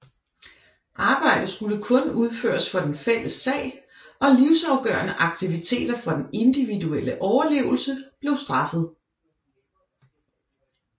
Arbejde skulle kun udføres for den fælles sag og livsafgørende aktiviteter for den individuelle overlevelse blev straffet